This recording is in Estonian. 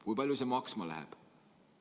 Kui palju see maksma läheb?